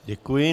Děkuji.